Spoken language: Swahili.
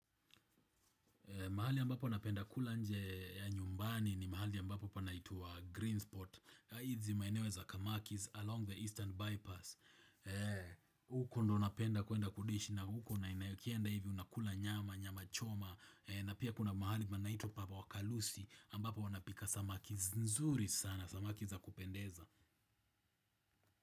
Mahali ambapo wanapenda kula nje ya nyumbani ni mahali ambapo panaitwa Greensport. Hizi maineweza kamakis along the Eastern Bypass. Huko ndo napenda kuenda kudishi na huko na inayokienda hivi unakula nyama, nyama choma. Na pia kuna mahali panaitwa papa wa kalusi ambapo wanapika samaki nzuri sana, samaki za kupendeza.